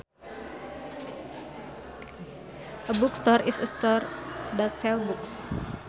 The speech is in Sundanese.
A bookstore is a store that sells books